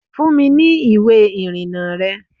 Fún mi ní ìwé ìrìnnà rẹ!